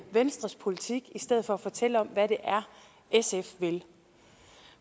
venstres politik i stedet for at fortælle om hvad det er sf vil